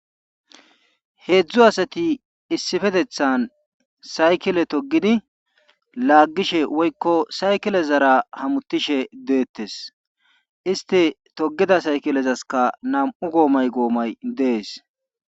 Heedzdzu asati issipeteththan saykile togidi laagishe woykko saykilezara hamutishe deetees. isti togida saykilezaskka namu goomay gomay des.